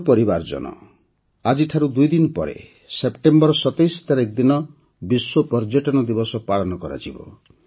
ମୋର ପରିବାରଜନ ଆଜିଠାରୁ ଦୁଇ ଦିନ ପରେ ସେପ୍ଟେମ୍ବର ୨୭ ତାରିଖ ଦିନ ବିଶ୍ୱ ପର୍ଯ୍ୟଟନ ଦିବସ ପାଳନ କରାଯିବ